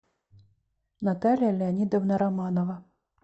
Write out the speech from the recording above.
наталья леонидовна романова